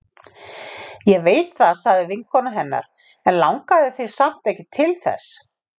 Ég veit það sagði vinkona hennar, en langaði þig samt ekki til þess?